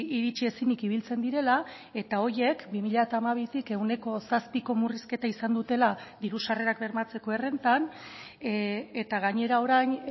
iritsi ezinik ibiltzen direla eta horiek bi mila hamabitik ehuneko zazpiko murrizketa izan dutela diru sarrerak bermatzeko errentan eta gainera orain